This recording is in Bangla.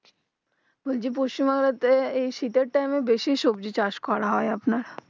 বলছি পশ্চিম বাংলা তে এই শীতের time এ বেশি সবজি চাষ করা হয় আপনার